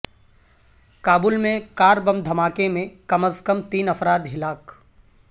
کابل میں car bomb دھماکہ میں کم از کم تین افراد ہلاک